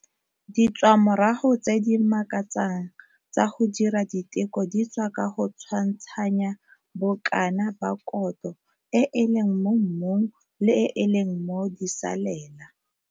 Ditswamorago tse di makatsang tsa go dira diteko di tswa ka go tshwantshanya bokana ba kotlo e e leng mo mmung le e e leng mo disalela.